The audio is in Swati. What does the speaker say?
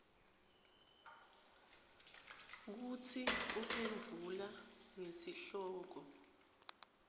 kutsi uphendvula ngesihloko